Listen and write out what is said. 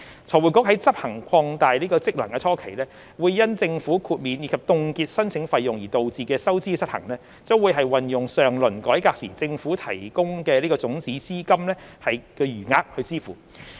財匯局在執行擴大職能初期，因政府豁免及凍結申請費用而導致的收支失衡，將運用上輪改革時政府提供的種子資金的餘額支付。